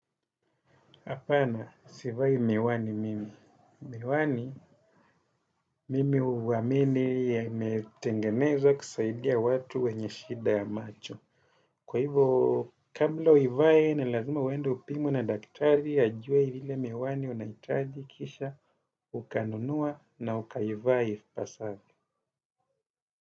Hapana, sivai miwani mimi. Miwani, mimi huamini yametengenezwa kusaidia watu wenye shida ya macho. Kwa hivyo, kabla uivaye, ni lazima uendu upimwe na daktari, ajue ile miwani unahitaji kisha ukanunua na ukaivaa ipasavyo.